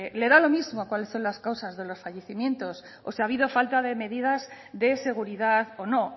le da lo mismo cuáles son las causas de los fallecimientos o si ha habido falta de medidas de seguridad o no